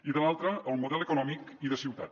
i de l’altra el model econòmic i de ciutat